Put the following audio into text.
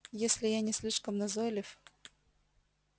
если я не слишком назойлив